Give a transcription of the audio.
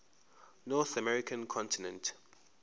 north american continent